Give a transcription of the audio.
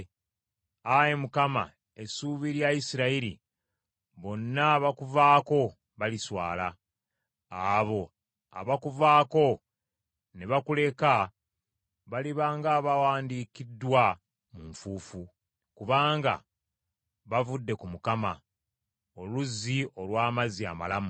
Ayi Mukama essuubi lya Isirayiri, bonna abakuvaako baliswala. Abo abakuvaako ne bakuleka baliba ng’abawandiikiddwa mu nfuufu, kubanga bavudde ku Mukama , oluzzi olw’amazzi amalamu.